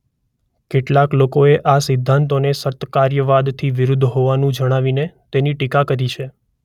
કેટલાક લોકોએ આ સિદ્ધાંતોને સતકાર્યવાદ થી વિરુદ્ધ હોવાનું જણાવીને તેની ટીકા કરી છે.